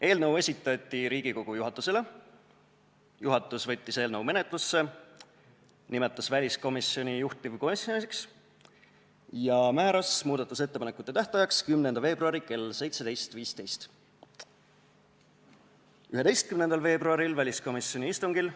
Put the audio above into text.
Eelnõu esitati Riigikogu juhatusele, juhatus võttis eelnõu menetlusse, nimetas väliskomisjoni juhtivkomisjoniks ja määras muudatusettepanekute esitamise tähtajaks 10. veebruari kell 17.15. 11. veebruaril väliskomisjoni istungil